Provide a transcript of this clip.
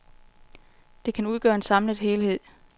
Det kan udgøre en samlet helhed.